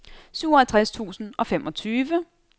syvoghalvtreds tusind og femogtyve